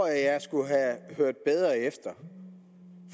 jeg skulle have hørt bedre efter